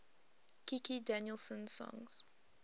kikki danielsson songs